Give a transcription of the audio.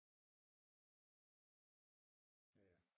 Ja